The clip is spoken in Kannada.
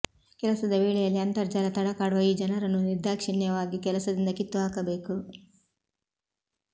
ಕೆಲಸದ ವೇಳೆಯಲ್ಲಿ ಅಂತರ್ಜಾಲ ತಡಕಾಡುವ ಈ ಜನರನ್ನು ನಿರ್ದಾಕ್ಷಿಣ್ಯವಾಗಿ ಕೆಲಸದಿಂದ ಕಿತ್ತುಹಾಕಬೇಕು